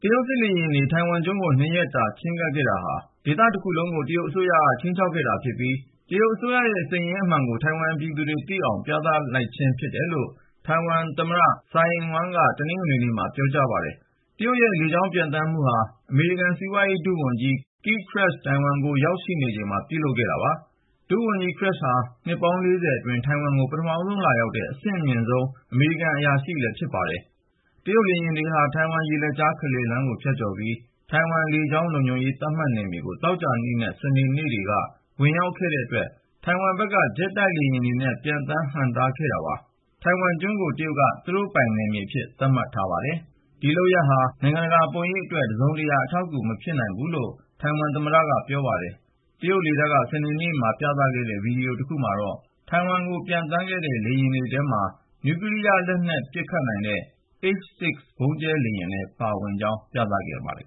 တရုတ်စစ်လေယာဉ်တွေ ထိုင်ဝမ်ကျွန်းကို ၂ ရက်တာ ချဉ်းကပ်ခဲ့တာဟာ ဒေသတခုလုံးကို တရုတ်အစိုးရက ခြိမ်းခြောက်ခဲ့တာဖြစ်ပြီး တရုတ်အစိုးရရဲ့ စိတ်ရင်းအမှန်ကို ထိုင်ဝမ်ပြည်သူတွေသိအောင် ပြသလိုက်ခြင်း ဖြစ်တယ်လို့ ထိုင်ဝမ်သမ္မတ Tsai Ing-wen က တနင်္ဂနွေနေ့မှာ ပြောကြားလိုက်ပါတယ်။ တရုတ်ရဲ့ လေကြောင်းပျံသန်းမှုဟာ အမေရိကန် စီးပွားရေးရာ ဒုတိယဝန်ကြီး Keith Krach ထိုင်ဝမ်ကို ရောက်ရှိနေချိန်မှာ ပြုလုပ်ခဲ့တာ ဖြစ်ပါတယ်။ ဒုတိယဝန်ကြီး Krach ဟာ နှစ်ပေါင်း ၄၀ အတွင်း ထိုင်ဝမ်ကို ပထမဆုံးလာရောက်တဲ့ အဆင့်အမြင့်ဆုံး အမေရိကန် အရာရှိတဦးလည်း ဖြစ်ပါတယ်။ တရုတ်လေယာဉ်တွေဟာ ထိုင်ဝမ်ရေလက်ကြား အလယ်လမ်းကို ဖြတ်ကျော်ပြီး ထိုင်ဝမ်လေကြောင်း လုံခြုံရေး သတ်မှတ်နယ်မြေကို သောကြာနဲ့ စနေနေ့တွေက ဝင်ရောက်ခဲ့ကြတဲ့အတွက် ထိုင်ဝမ်ဘက်က ဂျက်တိုက်လေယာဉ်တွေနဲ့ ပျံသန်းဟန့်တားခဲ့တာ ဖြစ်ပါတယ်။ ထိုင်ဝမ်ကျွန်းကို တရုတ်က သူတို့ပိုင် နယ်မြေအဖြစ် သတ်မှတ်ထားတာပါ။ ဒီလုပ်ရပ်တွေဟာ တရုတ်နိုင်ငံရဲ့ နိုင်ငံတကာပုံရိပ်အတွက် တစုံတရာ အထောက်အကူ မပြုနိုင်ဘူးလို့လည်း ထိုင်ဝမ်သမ္မတက ပြောပါတယ်။ တရုတ်လေတပ်က စနေနေ့မှာ ပြသခဲ့တဲ့ ဗွီဒီယိုတခုမှာတော့ ထိုင်ဝမ်ကို ပျံသန်းခဲ့တဲ့ လေယာဉ်တွေထဲမှာ နျူကလီးယားလက်နက် ပစ်ခတ်နိုင်တဲ့ H-6 ဗုံးကြဲလေယာဉ်တွေလည်း ပါဝင်ကြောင်း ပြသခဲ့ပါတယ်